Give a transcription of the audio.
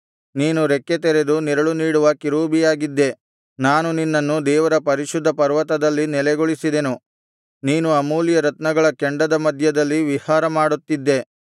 ನೀನು ರೆಕ್ಕೆತೆರೆದು ನೆರಳು ನೀಡುವ ಕೆರೂಬಿಯಾಗಿದ್ದೆ ನಾನು ನಿನ್ನನ್ನು ದೇವರ ಪರಿಶುದ್ಧ ಪರ್ವತದಲ್ಲಿ ನೆಲೆಗೊಳಿಸಿದೆನು ನೀನು ಅಮೂಲ್ಯ ರತ್ನಗಳ ಕೆಂಡದ ಮಧ್ಯದಲ್ಲಿ ವಿಹಾರ ಮಾಡುತ್ತಿದ್ದೆ